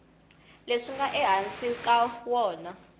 leswi nga ehansi ka wona